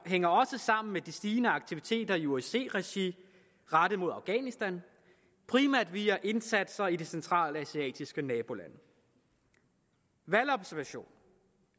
hænger også sammen med de stigende aktiviteter i osce regi rettet mod afghanistan primært via indsatser i de centralasiatiske nabolande valgobservation